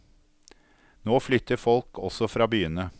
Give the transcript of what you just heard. Nå flytter folk også fra byene.